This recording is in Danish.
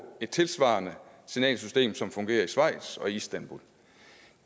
et tilsvarende signalsystem som fungerer i schweiz og i istanbul og